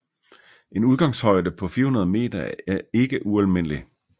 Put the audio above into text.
En udgangshøjde på 400 meter er ikke ualmindelig